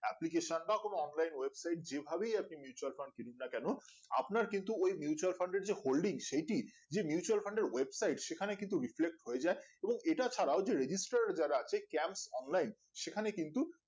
আপনি যে কোনো online website যে ভাবেই আপনি mutual fund কিনুন না কেনো আপনার কিন্তু ওই mutual fund এর যে holding সেইটি যে mutual fund এর website সেখানে কিন্তু riflix হয়ে যাই এবং এটা ছাড়াও যে registered এর যারা আছে camp online সেখানে কিন্তু